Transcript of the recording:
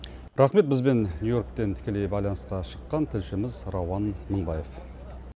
рахмет бізбен нью йорктен тікелей байланысқа шыққан тілшіміз рауан мыңбаев